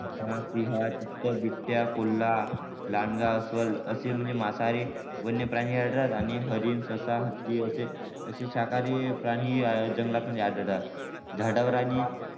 चित्ता सिंह बिबट्या कोल्हा लांडगा अस्वल असे म्हणजे मांसाहारी वन्यप्राणी आढळतात आणि हरीण ससा हत्ती असे असे शाकाहारी प्राणी जंगलात म्हणजे आढळतात झाडावर आणि